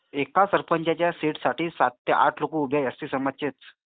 एक सरपंचाच्या सीट साठी सात ते आठ लोक उभी आहेत एसटी समाजाचे.